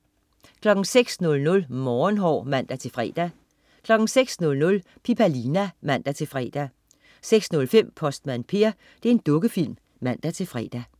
06.00 Morgenhår (man-fre) 06.00 Pipalina. (man-fre) 06.05 Postmand Per. Dukkefilm (man-fre)